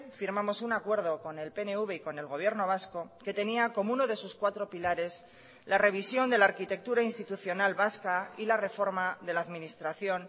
firmamos un acuerdo con el pnv y con el gobierno vasco que tenía como uno de sus cuatro pilares la revisión de la arquitectura institucional vasca y la reforma de la administración